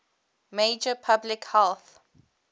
major public health